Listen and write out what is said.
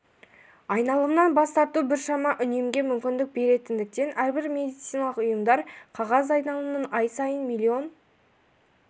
айналымнан бас тарту біршама үнемге мүмкіндік беретіндіктен әрбір медициналық ұйымдар қағаз айналымнан ай сайын миллион